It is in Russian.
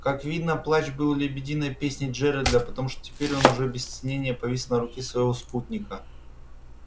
как видно плач был лебединой песней джералда потому что теперь он уже без стеснения повис на руке своего спутника